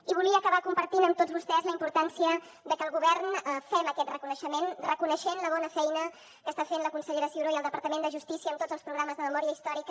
i volia acabar compartint amb tots vostès la importància que el govern fem aquest reconeixement reconeixent la bona feina que està fent la consellera ciuró i el departament de justícia en tots els programes de memòria històrica